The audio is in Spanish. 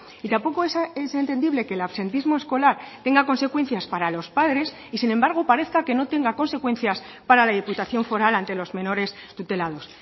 y tampoco es entendible que el absentismo escolar tenga consecuencias para los padres y sin embargo parezca que no tenga consecuencias para la diputación foral ante los menores tutelados